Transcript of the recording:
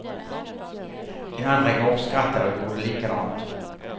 De andra gapskrattade och gjorde likadant.